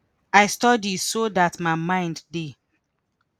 i study so dat my mind dey